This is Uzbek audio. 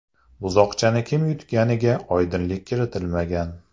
Buzoqchani kim yutganiga oydinlik kiritilmagan.